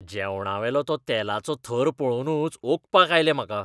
जेवणावेलो तो तेलाचो थर पळोवनूच ओंकपाक आयलें म्हाका.